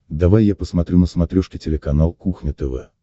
давай я посмотрю на смотрешке телеканал кухня тв